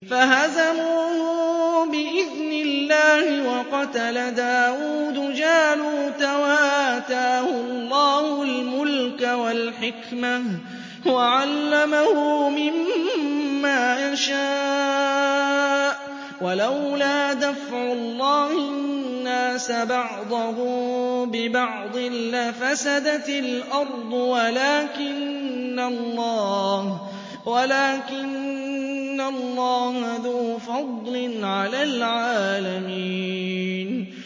فَهَزَمُوهُم بِإِذْنِ اللَّهِ وَقَتَلَ دَاوُودُ جَالُوتَ وَآتَاهُ اللَّهُ الْمُلْكَ وَالْحِكْمَةَ وَعَلَّمَهُ مِمَّا يَشَاءُ ۗ وَلَوْلَا دَفْعُ اللَّهِ النَّاسَ بَعْضَهُم بِبَعْضٍ لَّفَسَدَتِ الْأَرْضُ وَلَٰكِنَّ اللَّهَ ذُو فَضْلٍ عَلَى الْعَالَمِينَ